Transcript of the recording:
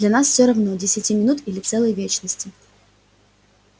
для нас всё равно десяти минут или целой вечности